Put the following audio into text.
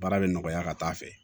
Baara bɛ nɔgɔya ka taa fɛ